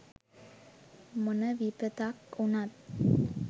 මොන විපතක් උනත්